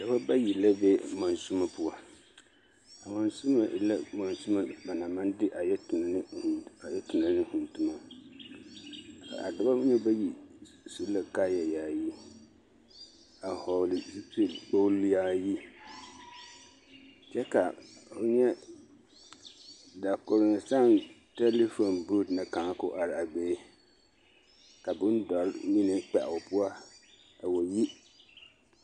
Dɔbɔ bayi la be monsimo poɔ, a monsimo e la monsimo ba naŋ maŋ de a yɛ tona ne vūū toma, a dɔbɔ mine bayi su la kaaya yaayi a hɔgele zupili kpogili yaayi kyɛ ka ho nyɛ dakoronsaŋ telifon booti na kaŋa k'o are a be ka bondɔre mine kpɛ o poɔ a wa yi.